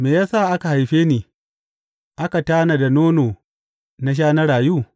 Me ya sa aka haife ni, aka tanada nono na sha na rayu?